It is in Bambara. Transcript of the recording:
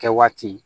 Kɛ waati